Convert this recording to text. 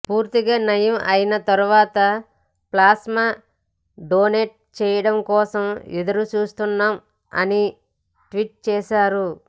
పూర్తిగా నయం అయినా తర్వాత ప్లాస్మా డొనేట్ చెయ్యడం కోసం ఎదురుచూస్తున్నాం అని ట్వీట్ చేసారు